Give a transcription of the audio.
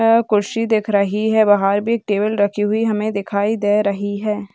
कुर्सी दिख रही है बाहर भी एक टेबल हमे रखी हुई दिखाई दे रही है।